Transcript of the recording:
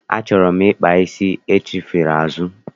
Achọrọ m ịkpa isi achifere azụ.